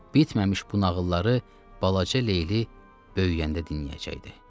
bitməmiş bu nağılları balaca Leyli böyüyəndə dinləyəcəkdi.